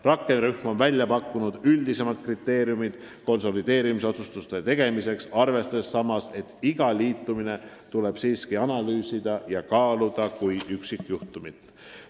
Rakkerühm on välja pakkunud üldisemad kriteeriumid konsolideerimisotsuste tegemiseks, arvestades samas, et iga liitumist tuleb siiski analüüsida ja kaaluda kui üksikjuhtumit.